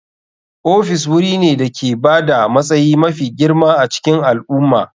Ofis wuri ne da ke ba da matsayi mafi girma a cikin al'umma.